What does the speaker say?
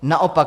Naopak.